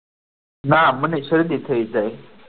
ના મને શરદી થઈ જાય.